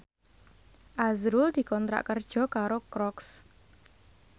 azrul dikontrak kerja karo Crocs